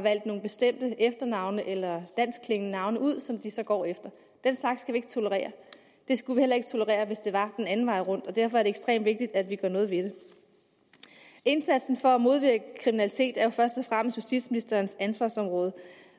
valgt nogle bestemte efternavne eller danskklingende navne ud som de så går efter den slags skal vi ikke tolerere vi skulle heller ikke tolerere det hvis det var den anden vej rundt og derfor er det ekstremt vigtigt at vi gør noget ved det indsatsen for at modvirke kriminalitet er jo først og fremmest justitsministerens ansvarsområde